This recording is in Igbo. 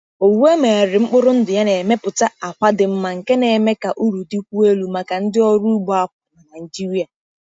Owu e megharịrị mkpụrụ ndụ ya na-emepụta àkwà dị mma nke na-eme ka uru dịkwuo elu maka ndị ọrụ ugbo akwa na Naijiria.